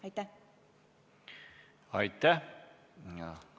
Aitäh!